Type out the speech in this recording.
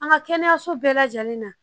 An ka kɛnɛyaso bɛɛ lajɛlen na